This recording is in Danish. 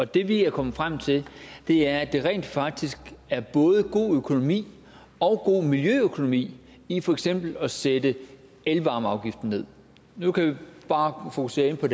det vi er kommet frem til er at der rent faktisk er både god økonomi og god miljøøkonomi i for eksempel at sætte elvarmeafgiften ned nu kan vi bare fokusere på